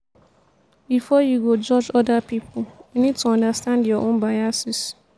before you go judge oda pipo you need to understand your own biases